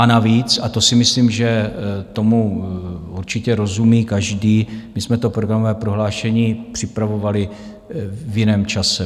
A navíc - a to si myslím, že tomu určitě rozumí každý - my jsme to programové prohlášení připravovali v jiném čase.